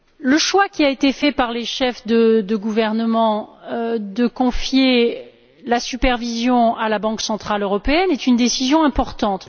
Le choix qui a été fait par les chefs de gouvernement de confier la supervision à la Banque centrale européenne est une décision importante.